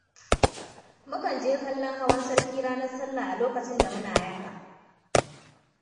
Mukan je kallon hawan sarki ranar sallah a lokacin da muna yara.